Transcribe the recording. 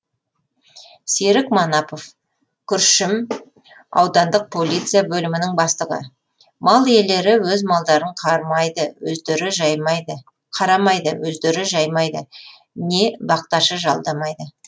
серік манапов күршім аудандық полиция бөлімінің бастығы мал иелері өз малдарын қарамайды өздері жаймайды не бақташы жалдамайды